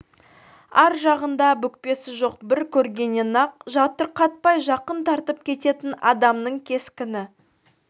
ар жағында бүкпесі жоқ бір көргеннен-ақ жатырқатпай жақын тартып кететін адамның кескіні